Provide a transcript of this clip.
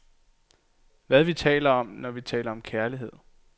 Hvad vi taler om, når vi taler om kærlighed.